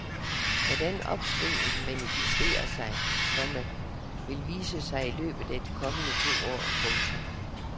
Hvordan opsvinget manifesterer sig, komma vil vise sig i løbet af de kommende to år. punktum